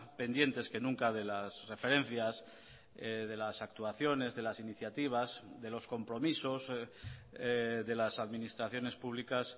pendientes que nunca de las referencias de las actuaciones de las iniciativas de los compromisos de las administraciones públicas